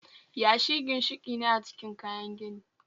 Yashi ginshiki ne a cikin kayan gini